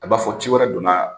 A b'a fɔ ci wɛrɛ donna